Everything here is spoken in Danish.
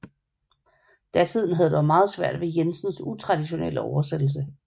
Datiden havde dog noget svært med Jensens utraditionelle oversættelse